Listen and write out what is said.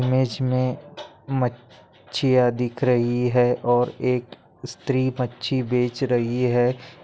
Image मे म्मा च्चिया दिख रही है और एक स्त्री मच्छी बेच रही है।